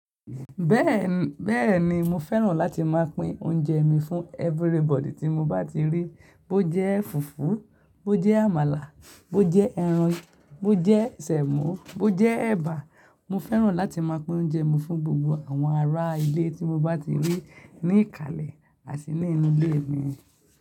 Bẹ́ẹ̀ni, bẹ́ẹ̀ni mo fẹ́ràn láti máa pín oúnjẹ mi fún everybody tí mo bá ti rí. Bó jẹ́ fùfú, bó jẹ́ àmàlà, bó jẹ́ ẹran, bó jẹ́ sẹ̀mò, bó jẹ́ ẹ̀bà. Mo fẹ́ràn láti máa pín oúnjẹ mi fún gbogbo àwọn ará ilé tí mo bá ti rí ní ìkàlẹ̀ àti ní inú ilé mi.